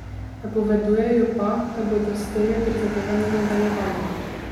Napovedujejo pa, da bodo s temi prizadevanji nadaljevali.